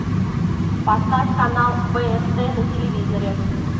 поставь канал бст на телевизоре